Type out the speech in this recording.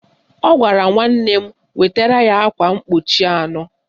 Ọ gwara nwanne m wetara ya akwa mkpuchi anọ